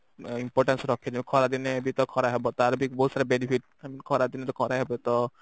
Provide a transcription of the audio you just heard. importance ରଖେ ଜଉ ଖରା ଦିନେ ବି ତ ଖରା ହବ ତାର ବି ବହୁତ ସାରା Benefit ଖରା ଦିନେ ତ ଖରା ହେବ ତ